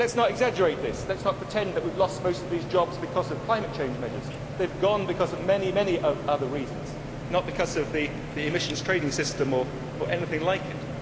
But let us not exaggerate this let us not pretend that we have lost most of these jobs because of climate change measures they have gone because of many, many other reasons, not because of the emissions trading system or anything like it.